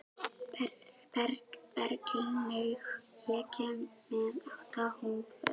Berglaug, ég kom með átta húfur!